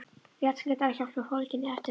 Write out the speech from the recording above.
Rétt skyndihjálp er fólgin í eftirfarandi